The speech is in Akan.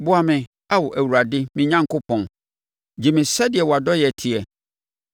Boa me, Ao Awurade me Onyankopɔn; gye me sɛdeɛ wʼadɔeɛ teɛ.